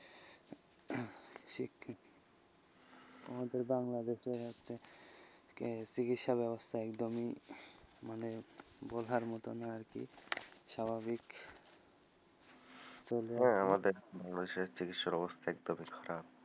আমাদের বাংলাদেশে হচ্ছে চিকিৎসা ব্যবস্থা একদমই হম মানে বলার মতো নয় আকি স্বাভাবিক হ্যা আমাদের বাংলাদেশে চিকিৎসার অবস্থা একদমই খারাপ,